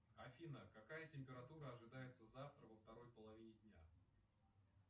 афина какая температура ожидается завтра во второй половине дня